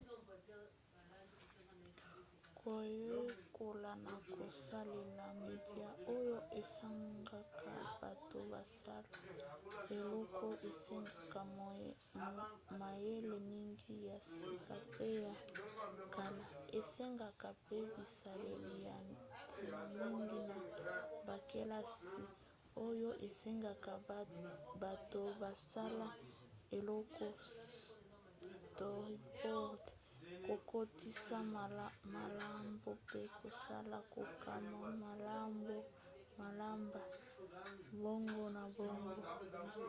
koyekola na kosalela media oyo esengaka bato basala eloko esengaka mayele mingi ya sika pe ya kala esengeka mpe bisaleli ya ntina mingi na bakelasi oyo esengaka bato basala eloko storyboard kokotisa malaoba mpe kosala kokoma malaoba bongo na bongo